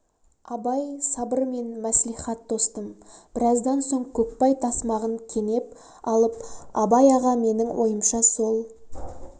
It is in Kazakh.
абай сабыр мен мәслихат тостым біраздан соң көкбай тасмағын кенеп алып абай аға менің ойымша сол